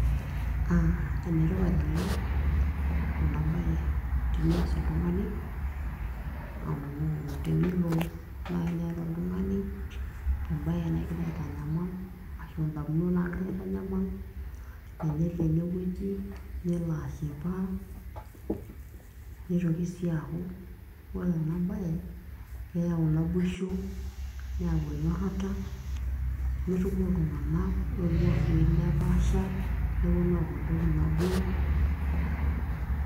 Enetipat oleng' ena baye tenias oltung'ani amu tenelo naaji niyata oltung'ani embae nikigira aitanyamal ashu ndamunot naagira aitanyamal tenelo enewueji nelo ashipa, neitoki sii aaku ore ena bae keyau naboisho, neyau enyorrata, netumo iltung'anak oing'ua wuejitin nepaasha nepuonu aaku entoki nabo.